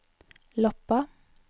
Loppa